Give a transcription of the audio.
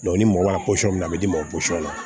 ni mɔgɔ y'a minɛn a bɛ d'i ma o la